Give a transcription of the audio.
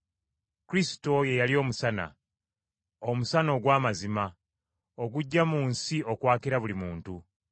Kristo ye yali Omusana, omusana ogw’amazima, ogujja mu nsi, okwakira buli muntu.